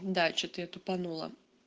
да что-то я тупанула